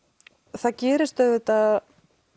það gerist auðvitað